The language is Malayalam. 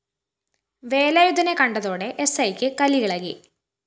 വേലായുധനെ കണ്ടതോടെ എസ്‌ഐക്ക് കലിയിളകി